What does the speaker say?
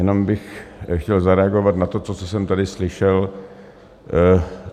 Jenom bych chtěl zareagovat na to, co jsem tady slyšel.